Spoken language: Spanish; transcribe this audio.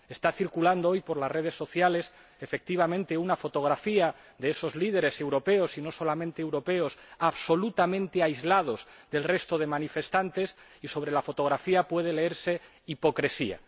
Está circulando hoy por las redes sociales, efectivamente, una fotografía de esos líderes europeos —y no solamente europeos— absolutamente aislados del resto de los manifestantes y sobre la fotografía puede leerse hipocresía.